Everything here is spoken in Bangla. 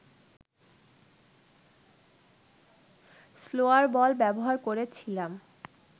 স্লোয়ার বল ব্যবহার করেছিলাম